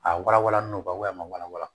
A walawala n'u ba a ma walawala